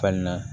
Fan na